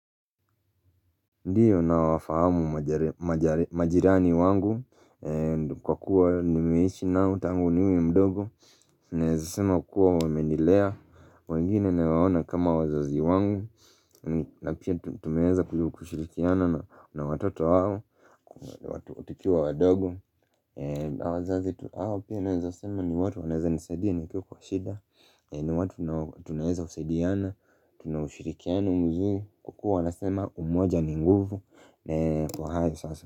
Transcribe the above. Ndiyo na wafahamu majirani wangu, kwa kuwa nimeishi nao tangu niwe mdogo, naezasema kuwa wemendilea, wengine naweona kama wazazi wangu, na pia tumeeza kushirikiana na watoto wao, watu tikiwa wadogo, wazazi hao pia naezasema ni watu waneza nisaidia ni kiu kwa shida, ni watu tunaeza usaidiana, tunaushirikiano mzuri, kwa kuwa wanasema umoja ni nguvu, nae, pohaia sasa.